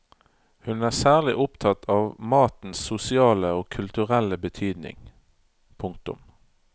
Hun er særlig opptatt av matens sosiale og kulturelle betydning. punktum